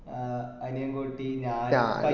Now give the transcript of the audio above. ആ അനിയന് കുട്ടി ഞാന്